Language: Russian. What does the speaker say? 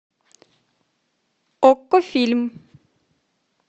окко фильм